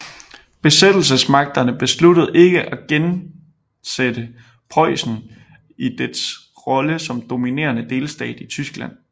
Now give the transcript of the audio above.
Besættelsesmagterne besluttede ikke at genndsætte Preussen i dets rolle som dominerende delstat i Tyskland